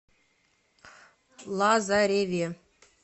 лазареве